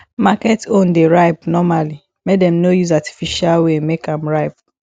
market own dey ripe normally make dem no use artificial way make am ripe